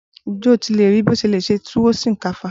Ǹjẹ́ o ti rii bí o ṣe lè ṣe túwó sìnkáfá?